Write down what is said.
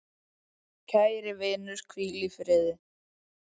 Kæri vinur, hvíl í friði.